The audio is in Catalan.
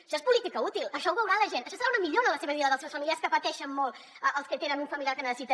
això és política útil això ho veurà la gent això serà una millora en la seva vida i la dels seus familiars que pateixen molt els que tenen un familiar que necessita